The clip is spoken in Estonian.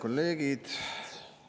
Head kolleegid!